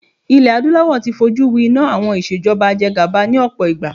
Ilé adúláwò ti fọ jú wi iná àwọn ìṣèjọba ajegàba ni ọ̀pọ̀ ìgbà.